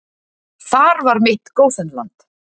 Þar var mitt gósenland.